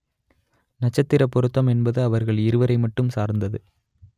நட்சத்திரப் பொருத்தம் என்பது அவர்கள் இருவரை மட்டும் சார்ந்தது